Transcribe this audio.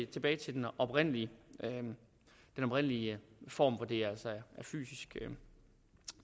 tilbage til den oprindelige oprindelige form hvor det altså er fysisk